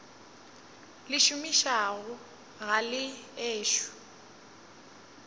le šomišago ga le ešo